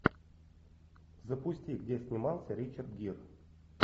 запусти где снимался ричард гир